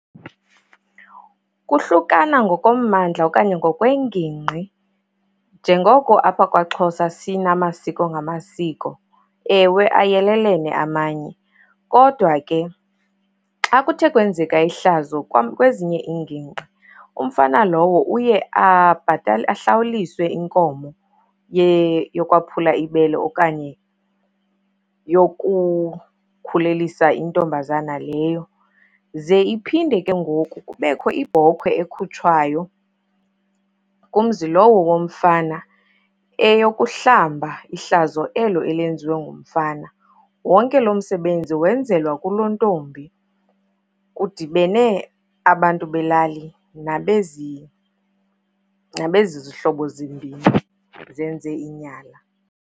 Kuhlukana ngokommandla okanye ngokwengingqi njengoko apha kwaXhosa sinamasiko ngamasiko. Ewe, ayelelene amanye kodwa ke xa kuthe kwenzeka ihlazo kwam, kwezinye iingingqi, umfana lowo uye abhatale ahlawulise inkomo yokwaphula ibele okanye yokukhulelisa intombazana leyo. Ze iphinde ke ngoku kubekho ibhokhwe ekhutshwayo kumzi lowo womfana, eyokuhlamba ihlazo elo elenziwe ngumfana. Wonke loo msebenzi wenzelwa kulontombi kudibene abantu belali nabezizihlobo zimbini zenze inyala.